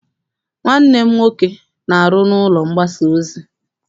Nwanne m nwoke na-aru n'ụlọ mgbasa ozi.